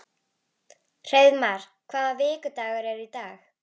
Hreiðmar, hvaða vikudagur er í dag?